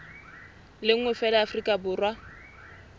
le nngwe feela afrika borwa